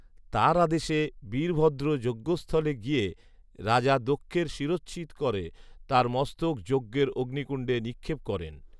তার আদেশে বীরভদ্ৰ যজ্ঞস্থলে গিয়ে রাজা দক্ষের শিরোচ্ছেদ করে তার মস্তক যজ্ঞএর অগ্নিকুণ্ডে নিক্ষেপ করেন